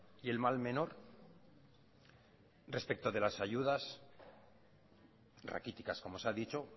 y el mal menor respecto de las ayudas raquíticas como se ha dicho